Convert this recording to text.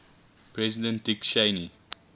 president dick cheney